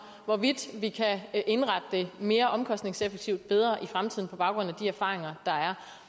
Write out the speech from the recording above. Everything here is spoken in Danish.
hvorvidt vi kan indrette det mere omkostningseffektivt og bedre i fremtiden på baggrund af de erfaringer der er